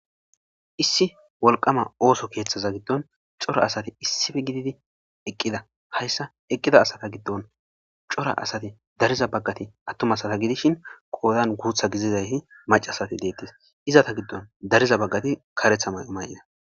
Issi wolqama ooso keeththaza giddon issipe gididi eqqida hayssan eqqida asata giddon cora asati dariza baggati attuma asata gidishin qoodan guuththa gididayti macca asata gidettes izeta giddon dariza baggati kareththa mayo mayida.